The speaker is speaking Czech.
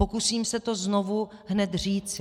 Pokusím se to znovu hned říci.